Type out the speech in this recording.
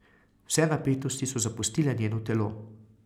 Vse napetosti so zapustile njeno telo.